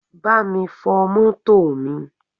Bámi fọ mọ́tò mi!